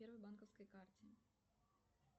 первой банковской карте